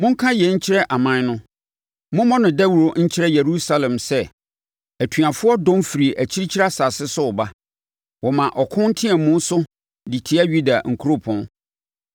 “Monka yei nkyerɛ aman no, mommɔ no dawuro nkyerɛ Yerusalem sɛ, ‘Atuafoɔ dɔm firi akyirikyiri asase bi so reba, wɔma ɔko nteamu so de tia Yuda nkuropɔn.